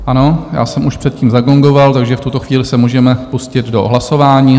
Ano, já jsem už předtím zagongoval, takže v tuto chvíli se můžeme pustit do hlasování.